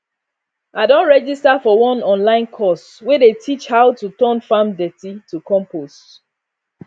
i don register for one online course wey dey teach how to turn farm dirty to compost